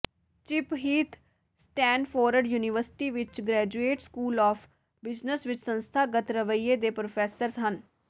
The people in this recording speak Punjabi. ਚਿੱਪ ਹੀਥ ਸਟੈਨਫੋਰਡ ਯੂਨੀਵਰਸਿਟੀ ਵਿਚ ਗ੍ਰੈਜੂਏਟ ਸਕੂਲ ਆਫ ਬਿਜਨਸ ਵਿਚ ਸੰਸਥਾਗਤ ਰਵੱਈਏ ਦੇ ਪ੍ਰੋਫੈਸਰ ਹਨ